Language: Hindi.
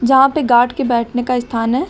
यहां पे गार्ड के बैठने का स्थान है।